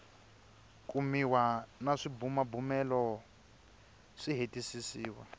kumiwa na swibumabumelo swi hetisisiwa